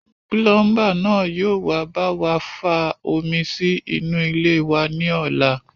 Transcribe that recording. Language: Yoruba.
Púlúmbà ni yóò wá bá wa fa omi sí inú ilé wa ní ọ̀la